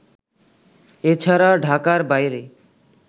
এ ছাড়া ঢাকার বাইরে